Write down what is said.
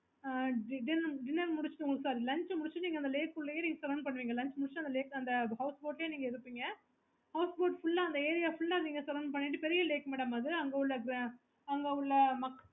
okay